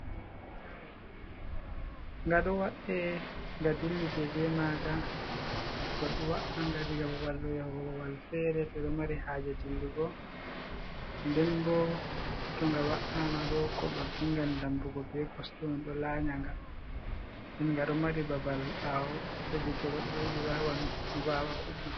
Ga ɗo wa’e, nga dillide be maaga. Goɗɗo wa’a nga diga babal ɗo yahugo babal feere to ɓe ɗo mari haaje dillugo. Nden bo to nga wa’ama ɗo goɗɗo dingan damppugo be kosɗe ɗo laanya nga, nden ga ɗo mari babal ɓaawo heɓi to goɗɗo yiɗi wawan vaawa goɗɗo.